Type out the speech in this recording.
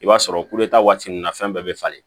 I b'a sɔrɔ kuleta waati nunnu na fɛn bɛɛ be falen